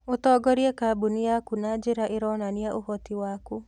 Ũtongorie kambuni yaku na njĩra ĩronania ũhoti waku.